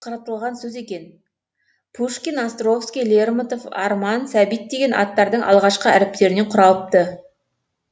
қаратылған сөз екен пушкин островский лермонтов арман сәбит деген аттардың алғашқы әріптерінен құралыпты